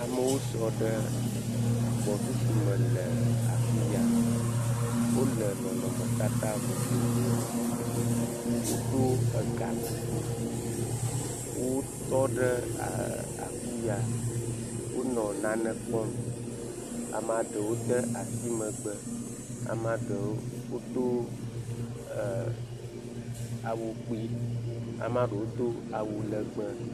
Amewo sɔ ɖe gbɔsusume le afi ya. Wole nɔnɔmetata vovovome. Wodo gakuku. Wotɔ ɖe ɛɛ afi ya. Wonɔ nane kpɔm. amea ɖewo de asi megbe. Amea ɖewo wodo ɛɛ awu kpue. Amea ɖewo do awu lɛgbɛ.